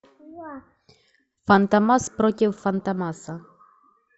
фантомас против фантомаса